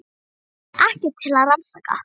Það var ekkert til að rannsaka.